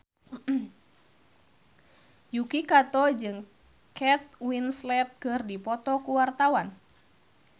Yuki Kato jeung Kate Winslet keur dipoto ku wartawan